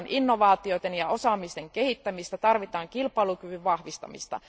Tarvitaan innovaatioiden ja osaamisen kehittämistä, tarvitaan kilpailukyvyn vahvistamista.